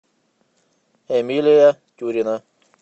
эмилия тюрина